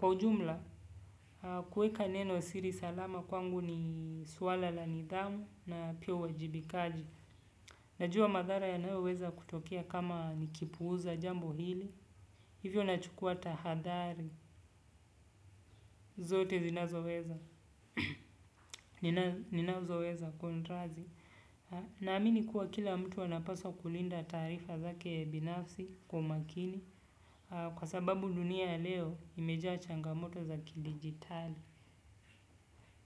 Kwa ujumla, kueka neno siri salama kwangu ni suala la nidhamu na pia uwajibikaji. Najua madhara yanayoweza kutokea kama nikipuuza jambo hili. Hivyo na chukua tahadhari, zote zinazoweza, ninazoeza kontrazi. Naamini kuwa kila mtu wanapaswa kulinda taarifa zake binafsi kwa makini kwa sababu dunia leo imejaa changamoto zakidigitali.